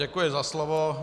Děkuji za slovo.